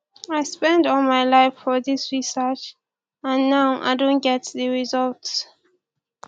i spend all my life for dis research and now i don get the result